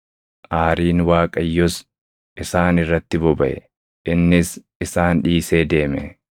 Aariin Waaqayyos isaan irratti bobaʼe; innis isaan dhiisee deeme.